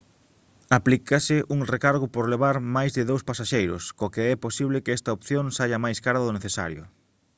aplícase un recargo por levar máis de 2 pasaxeiros co que é posible que esta opción saia máis cara do necesario